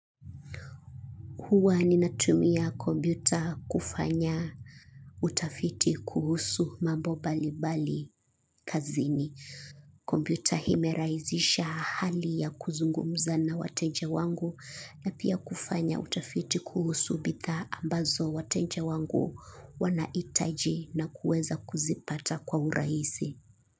Huwa ninatumia kompyuta kufanya utafiti kuhusu mambo mbali mbali kazini. Kompyuta imerahisisha hali ya kuzungumza na wateja wangu na pia kufanya utafiti kuhusu bidhaa ambazo wateja wangu wanahitaji na kuweza kuzipata kwa urahisi.